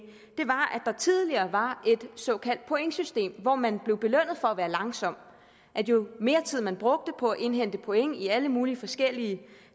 der tidligere var et såkaldt pointsystem hvor man blev belønnet for at være langsom jo mere tid man brugte på at indhente point i alle mulige forskellige